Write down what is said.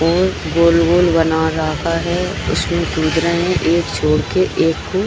ये को गोल - गोल बना रखा है इसमें कूद रहे है एक छोड़ के एक --